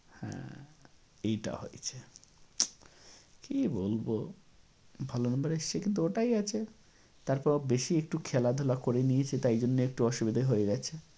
হ্যাঁ, এইটা হয়েছে। কী বলব? ভালো number এসছে কিন্তু ওটাই আছে।